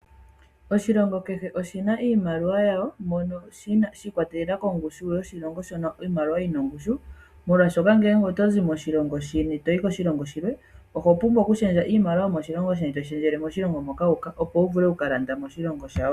Oshilongo kehe oshina iimaliwa yawo mono shiikwatelela kongushu yoshilongo shono iimaliwa yina ongushu molwaashoka ngele otozi moshilongo shi ili toyi koshilongo shilwe oho pumbwa oku shendja iimaliwa yomoshilongo sheni toyi shendjele moshilongo moka wuuka opo wu vule okuka landa moshilongo shawo.